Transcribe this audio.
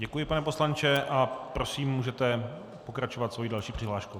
Děkuji, pane poslanče, a prosím, můžete pokračovat svou další přihláškou.